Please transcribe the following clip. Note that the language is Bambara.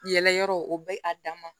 Yɛlɛ yɔrɔ o bɛ a dan ma